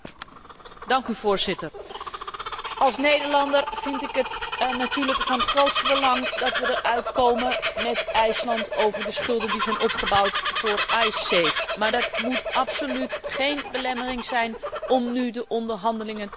Voorzitter, als Nederlander vind ik het natuurlijk van het grootste belang dat we eruit komen met IJsland over de schulden die zijn opgebouwd voor Icesave, maar dat moet absoluut geen belemmering zijn om nu de onderhandelingen te openen.